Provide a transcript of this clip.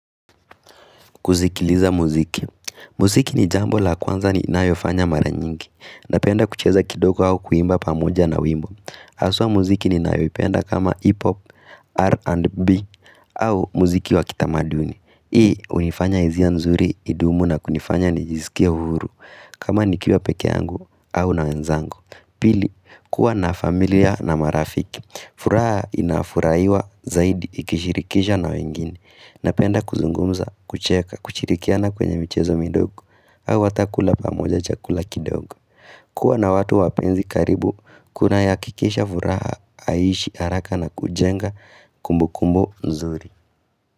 Kuzikiliza muziki, muziki ni jambo la kwanza ni inayofanya maranyingi, napenda kucheza kidoko au kuimba pamuja na wimbo. Aswa muziki ni inayofenda kama hipop, R&B, au muziki wa kitamaduni. I, hunifanya izia nzuri idumu na kunifanya nijizikia huru, kama nikiwa peke yangu au na wenzangu. Pili, kuwa na familia na marafiki. Furaa inafuraiwa zaidi ikishirikisha na wengine. Napenda kuzungumza, kucheka, kuchirikiana kwenye michezo midogo. Hawa watakula pamoja chakula kidogo. Kua na watu wapenzi karibu, kuna ya kikisha furaha, aishi, haraka na kujenga kumbu kumbu nzuri.